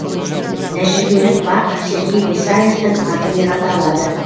тәжірибелік бақ сергей исаевтің атымен аталады